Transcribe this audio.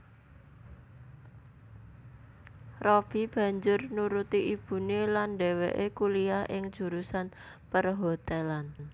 Robby banjur nuruti ibuné lan dhéwéké kuliyah ing jurusan perhotelan